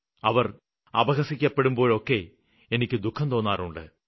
അവര് അപഹസിക്കപ്പെടുമ്പോഴൊക്കെ ദുഖം തോന്നാറുണ്ട്